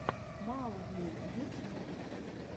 маугли ютьюб